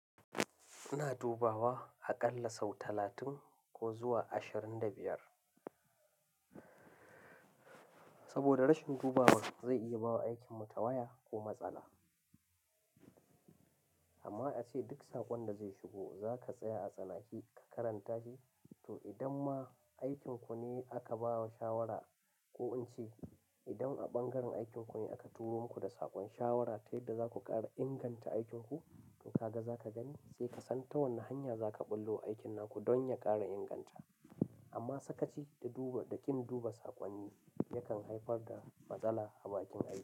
Ina dubawa a ƙalla sau talatin ko zuwa ashirin da biyar. Saboda rashin dubawa zai iya bawa aikinmu tawaya ko matsala. Amma ace duk saƙon da zai shigo za ka tsaya a tsanake ka karanta shi, to idan ma aikinku ne aka ba wa shawara ko in ce idan a ɓangaren aikinku ne aka turo muku da saƙon shawara ta yadda za ku ƙara inganta aikinku, in ka ga za ka gani sai ka san ta wane hanya za ka ɓullo aikin naku don ya ƙara inganta. Amma sakaci da duba, da kin duba saƙonni yakan haifar da matsala a bakin aiki.